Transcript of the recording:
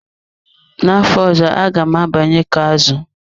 Na afọ ọzọ na-abịa aga m abanye izu azụ.